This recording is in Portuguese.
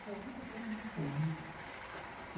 Conta para a gente um pouco.